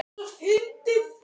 Voru þetta.